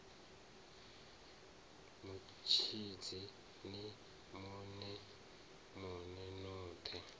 mutshidzi ni mona mona hothe